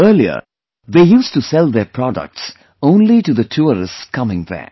Earlier they used to sell their products only to the tourists coming there